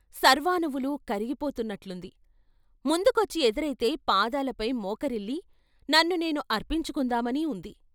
సర్వాణువులూ కరిగి పోతున్నట్లుంది ముందుకొచ్చి ఎదురైతే పాదాలపై మోకరిల్లి నన్ను నేను అర్పించుకుందామని ఉంది.